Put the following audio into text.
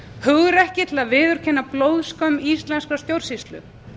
hugrekki til að viðurkenna blóðskömm íslenskrar stjórnsýslu